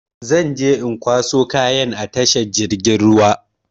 Zan je in kwaso kayan a tashar jirgin ruwa.